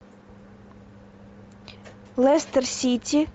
лестер сити